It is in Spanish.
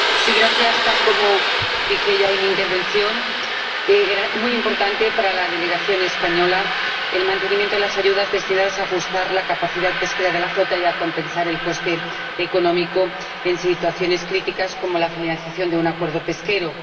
Señor Presidente, tal como ya dije en mi intervención, es muy importante para la delegación española el mantenimiento de las ayudas destinadas a ajustar la capacidad pesquera de la flota y a compensar el coste económico en situaciones críticas como la finalización de un acuerdo pesquero.